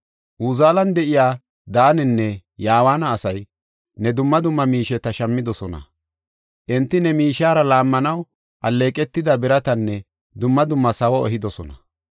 Uzaalen de7iya Daanenne Yawaana asay ne dumma dumma miisheta shammidosona. Enti ne miishiyara laammanaw alleeqetida biratanne dumma dumma sawo ehidosona.